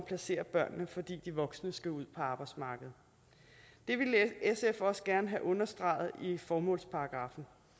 placerer børnene fordi de voksne skal ud på arbejdsmarkedet det ville sf også gerne have understreget i formålsparagraffen